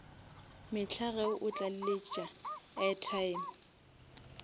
mehla ge o tlaleletša airtime